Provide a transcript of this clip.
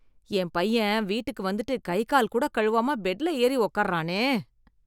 என் பையன் வீட்டுக்கு வந்துட்டு கை கால் கூட கழுவாம பெட்ல ஏறி உக்காருறானே.